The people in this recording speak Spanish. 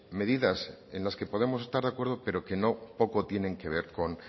medidas en las que podemos estar de acuerdo pero que no poco tienen que ver con